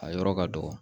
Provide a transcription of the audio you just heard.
A yɔrɔ ka dɔgɔ